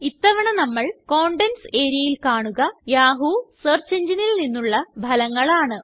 ഇത്തവണ നമ്മള് കണ്ടെന്റ്സ് areaൽ കാണുക യാഹൂ സെർച്ച് engineൽ നിന്നുള്ള ഫലങ്ങൾ ആണ്